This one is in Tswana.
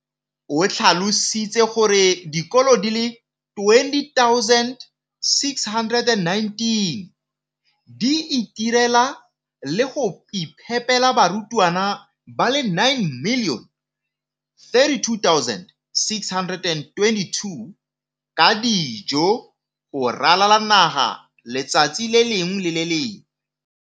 O tlhalositse gore dikolo di le 20 619 di itirela le go iphepela barutwana ba le 9 032 622 ka dijo go ralala naga letsatsi le lengwe le le lengwe.